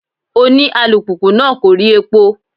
Òní alùpùpù náà kò rí epo.